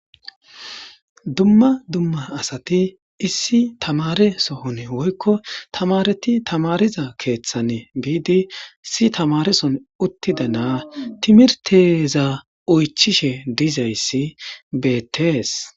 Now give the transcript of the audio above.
dumma dumma asati issi tamare sohon woykko tamareti tamariza keeththan biidi si tamarison uttida naa timirteza oychishe dizayssi beettees